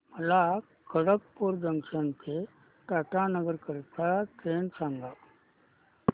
मला खडगपुर जंक्शन ते टाटानगर करीता ट्रेन सांगा